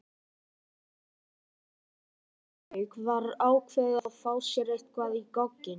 Þegar formlegri dagskrá lauk var ákveðið að fá sér eitthvað í gogginn.